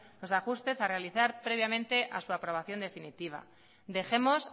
los ajustes a realizar previamente a su aprobación definitiva dejemos